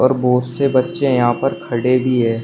और बहुत से बच्चे यहां पर खड़े भी है।